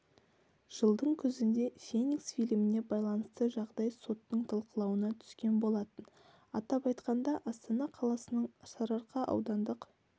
жылдың күзінде феникс фильміне байланысты жағдай соттың талқылауына түскен болатын атап айтқанда астана қаласының сарыарқа аудандық